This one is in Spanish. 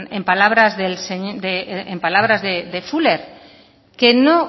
en palabras de fuller que no